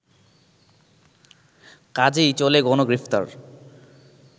কাজেই চলে গণগ্রেফতার